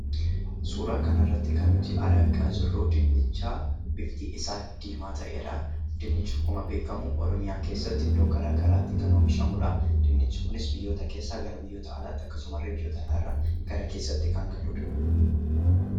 Suuraa kanarratti kan nuti argaa jirru dinnicha bifti isaa diimaa ta'edha. Dinnichi akkuma beekkamu, oromiyaa keessatti iddoo garagaraatti kan oomishamudha. Dinnichi kunis biyyoota keessaa gara biyyoota alaa, akkasumasillee biyyoota alaarraa gara keessaatti kan galudha.